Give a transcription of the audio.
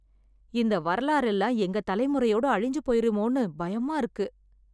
இந்த வரலாறெல்லாம் எங்க தலைமுறையோட அழிஞ்சு போயிருமோன்னு பயமா இருக்கு.